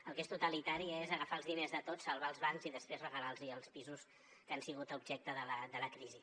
el que és totalitari és agafar els diners de tots salvar els bancs i després regalar los els pisos que han sigut objecte de la crisi